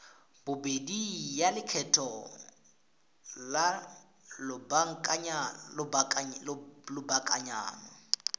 bobedi ya lekgetho la lobakanyana